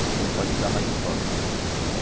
Você não pode dar mais de um toque.